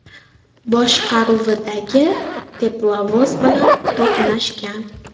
boshqaruvidagi teplovoz bilan to‘qnashgan.